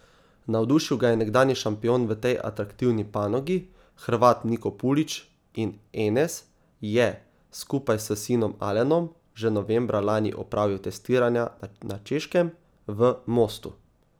Navdušil ga je nekdanji šampion v tej atraktivni panogi, Hrvat Niko Pulić, in Enes je, skupaj s sinom Alenom, že novembra lani opravil testiranja na Češkem, v Mostu.